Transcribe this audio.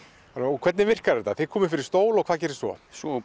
hvernig virkar þetta þið komið fyrir stól og hvað gerist svo svo